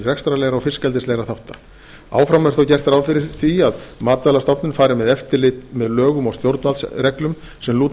rekstrarlegra og fiskeldislegra þátta áfram er þó gert ráð fyrir að matvælastofnun fari með eftirlit með lögum og stjórnvaldsreglum sem lúta að